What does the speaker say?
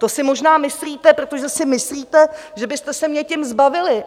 To si možná myslíte, protože si myslíte, že byste se mě tím zbavili!